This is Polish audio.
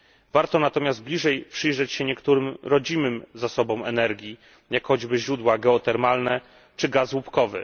Warto natomiast bliżej przyjrzeć się niektórym rodzimym zasobom energii, jak choćby źródła geotermalne czy gaz łupkowy.